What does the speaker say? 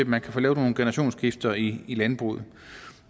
man kan få lavet nogle generationsskifter i i landbruget